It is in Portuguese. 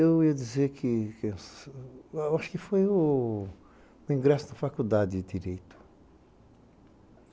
Eu ia dizer que acho que foi o ingresso da faculdade de Direito.